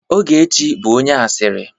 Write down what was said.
Ogechi bụ onye asịrị.